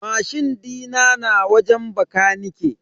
Mashin dina na wajen bakanike.